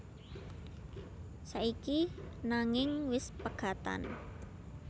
Saiki nanging wis pegatan